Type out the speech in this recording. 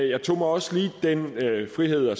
jeg tog mig også lige den frihed at